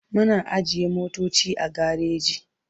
Muna ajiye motoci a gareji.